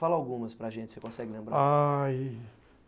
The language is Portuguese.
Fala algumas para gente, se você consegue lembrar. Aí...